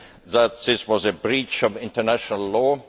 that this was a breach of international law.